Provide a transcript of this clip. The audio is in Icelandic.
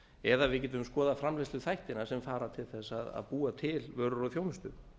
eða við getum skoðað framleiðsluþættina sem fara til að búa til vörur og þjónustu